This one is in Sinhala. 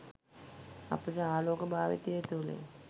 අපිට ආලෝක භාවිතය තුළින්